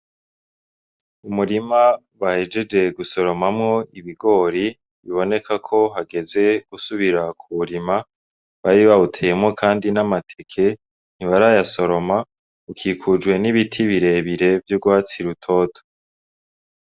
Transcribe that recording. Umurima bahejeje gusoromamwo ibigori biboneka ko hageze gusubira kuwurima, bari bawuteyemwo kandi n'amateke ntibarayasoroma. Ukikujwe n'ibiti birebire vy'urwatsi rutoto.